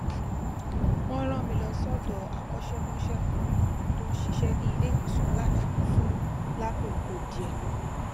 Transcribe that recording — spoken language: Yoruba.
wón rán mi lọ sódò akọṣẹmọṣẹ kan tó ń ṣiṣé ní iléìwòsàn aladaani fun lákòókò díè